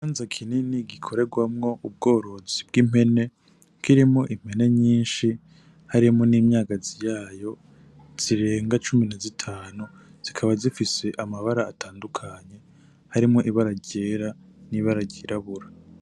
Ikibanza kinini gikoregwamwo ubworozi bw'impene, kirimwo impene nyinshi, harimwo n'imyagazi yayo, zirenga cumi na zitanu zikaba zifise amabara atandukanye, harimwo ibara ryera, n'ibara ryirabura.